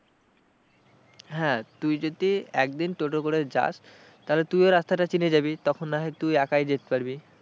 হ্যাঁ তুই যদি একদিন টোটো করে যাস তাহলে তুইও রাস্তাটা চিনে যাবি, তখন না হয় তুই একাই যেতে পারবি।